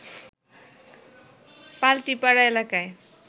পাল্টিপাড়া এলাকায়